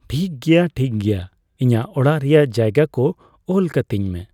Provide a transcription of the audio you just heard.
ᱴᱷᱤᱠ ᱜᱮᱭᱟ ᱴᱷᱤᱠ ᱜᱮᱭᱟ ᱤᱧᱟᱹᱜ ᱚᱲᱟᱜ ᱨᱮᱱᱟᱜ ᱡᱟᱭᱜᱟ ᱠᱚ ᱚᱞ ᱠᱟᱹᱛᱧ ᱢᱮ ᱾